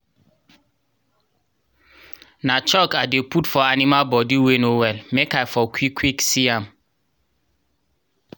na chalk i dey put for animal body wey no well make i for quick quick see am